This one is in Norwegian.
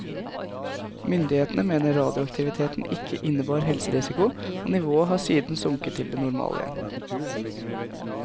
Myndighetene mener radioaktiviteten ikke innebar helserisiko, og nivået har siden sunket til det normale igjen.